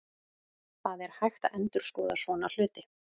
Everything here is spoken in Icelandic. Það er hægt að endurskoða svona hluti.